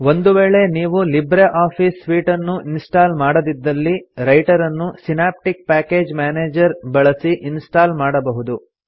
ಒಂದು ವೇಳೆ ನೀವು ಲಿಬ್ರೆ ಆಫೀಸ್ ಸೂಟ್ ಅನ್ನು ಇನ್ಸ್ಟಾಲ್ ಮಾಡದಿದ್ದಲ್ಲಿ ರೈಟರನ್ನು ಸಿನಾಪ್ಟಿಕ್ ಪ್ಯಾಕೇಜ್ ಮ್ಯಾನೇಜರ್ ಬಳಸಿ ಇನ್ಸ್ಟಾಲ್ ಮಾಡಬಹುದು